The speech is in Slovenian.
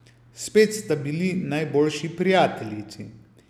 Spet sta bili najboljši prijateljici.